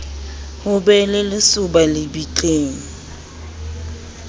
ho be le lesoba lebitleng